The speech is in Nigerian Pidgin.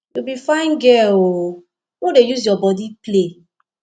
you be fine girl oooo no dey use your body play